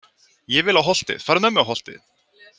Ég vil á Holtið, farðu með mig á Holtið!